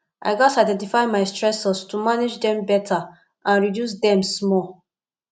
i gats identify my stressors to manage dem beta and reduce dem small